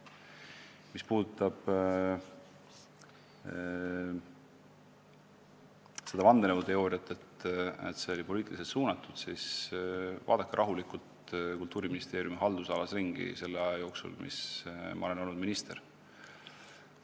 Mis puudutab vandenõuteooriat, seda, et see kõik oli poliitiliselt suunatud, siis vaadake rahulikult Kultuuriministeeriumi haldusalas ringi, vaadake, mis on toimunud selle aja jooksul, kui ma olen minister olnud.